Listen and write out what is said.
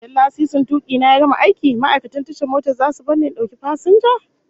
Idan lasisin tuki na ya gama aiki, ma'aikatan tashar mota zasu bar ni in dauki fasinja?